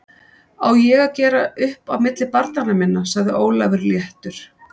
Á ég að gera upp á milli barnanna minna? sagði Ólafur léttur.